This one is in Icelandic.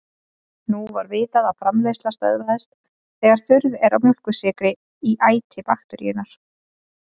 Nú var vitað að framleiðsla stöðvast þegar þurrð er á mjólkursykri í æti bakteríunnar.